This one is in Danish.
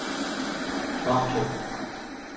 Vamdrup